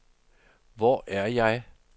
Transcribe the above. Hvor er jeg